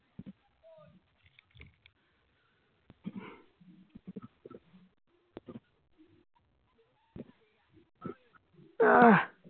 আহ